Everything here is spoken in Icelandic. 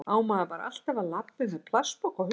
Á maður alltaf bara að labba um með plastpoka á hausnum?